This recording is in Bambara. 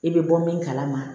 I bɛ bɔ min kalama